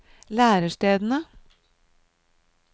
lærestedene